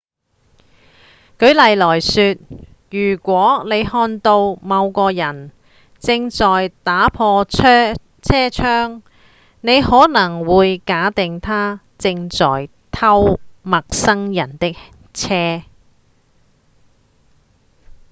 舉例來說如果您看到某個人正在打破車窗您可能會假定他正在偷陌生人的車